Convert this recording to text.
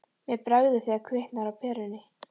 Mér bregður þegar kviknar á perunni